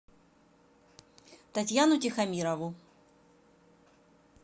татьяну тихомирову